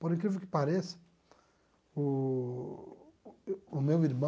Por incrível que pareça, o o meu irmão...